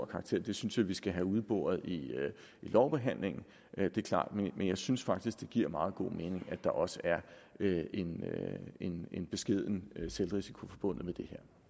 karakter det synes jeg vi skal have udboret i lovbehandlingen det er klart men jeg synes faktisk det giver meget god mening at der også er en en beskeden selvrisiko forbundet